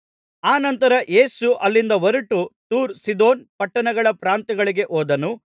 ಅನಂತರ ಯೇಸು ಅಲ್ಲಿಂದ ಹೊರಟು ತೂರ್ ಸೀದೋನ್ ಪಟ್ಟಣಗಳ ಪ್ರಾಂತ್ಯಗಳಿಗೆ ಹೋದನು